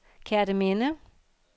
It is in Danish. Kerteminde